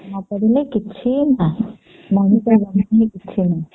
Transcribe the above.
ପାଠ ନ ପଢିଲେ କିଛି ନାହିଁ ମଣିଷ ବୋଲି କିଛି ନାହିଁ